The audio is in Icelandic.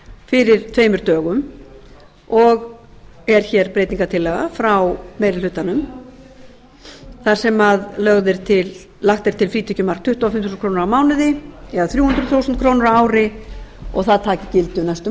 fyrir tveimur dögum og er hér breytingartillaga frá meiri hlutanum þar sem lagt er til frítekjumark tuttugu og fimm þúsund krónur á mánuði eða þrjú hundruð þúsund krónur ári og það taki gildi um næstu